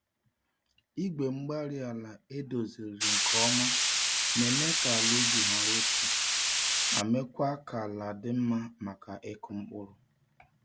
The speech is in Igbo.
Igwe-mgbárí-ala edoziziri nke ọma na-eme ka ala ubi hàrà otu, ma mekwa kà àlà dị mmá maka ịkụ mkpụrụ.